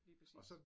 Lige præcis